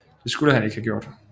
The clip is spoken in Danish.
Det skulle han ikke have gjort